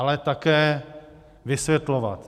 Ale také vysvětlovat.